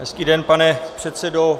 Hezký den, pane předsedo.